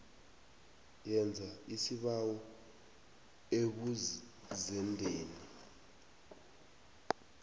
yenza isibawo ebuzendeni